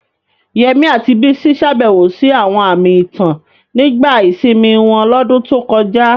Yemi àti Bisi ṣàbẹ̀wò sí àwọn àmì ìtàn nígbà ìsinmi wọn lọ́dún tó kọjá.